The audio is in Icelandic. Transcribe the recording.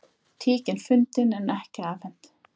Tíkin fundin en ekki afhent